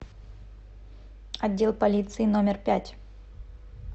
отдел полиции номер пять